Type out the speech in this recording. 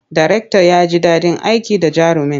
Darektan ya ji daɗin aiki da jarumin.